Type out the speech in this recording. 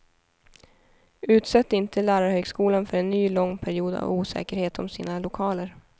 Utsätt inte lärarhögskolan för en ny lång period av osäkerhet om sina lokaler.